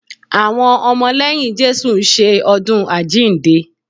Àwọn ọmọ lẹ́yìn Jésù ń ṣe ọdún àjíǹde